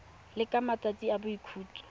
le ka matsatsi a boikhutso